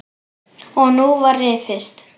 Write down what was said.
Og nú var rifist.